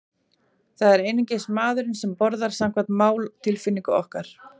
Það er einungis maðurinn sem borðar, samkvæmt máltilfinningu okkar.